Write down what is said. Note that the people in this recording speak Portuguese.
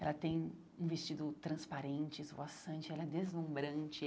Ela tem um vestido transparente, esvoaçante, ela é deslumbrante.